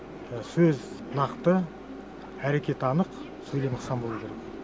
сөз нақты әрекет анық сөйлем ықшам болу керек